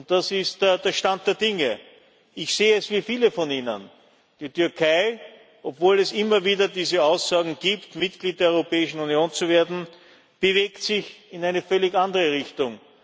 Das ist der Stand der Dinge. Ich sehe es wie viele von Ihnen Die Türkei obwohl es immer wieder diese Aussagen gibt, Mitglied der Europäischen Union zu werden bewegt sich in eine völlig andere Richtung.